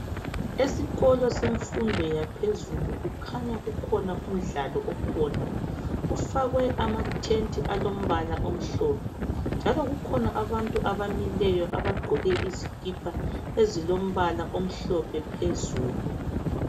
Esikolo semfundo yaphezulu kukhanya kukhona umdlalo okhona kufakwe amatent alombala omhlophe njalo kukhona abantu abamileyo abagqoke izikipa ezilombala omhlophe phezulu